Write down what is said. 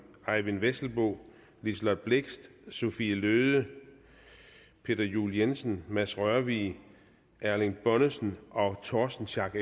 eyvind vesselbo liselott blixt sophie løhde peter juel jensen mads rørvig erling bonnesen og torsten schack